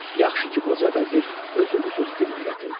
Yaxşı ki, qoca vəzir özü bu sözü dilinə gətirdi.